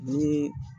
Ni